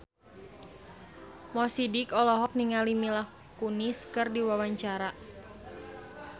Mo Sidik olohok ningali Mila Kunis keur diwawancara